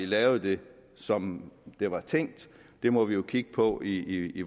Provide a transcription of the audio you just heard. lavet det som det var tænkt det må vi kigge på i i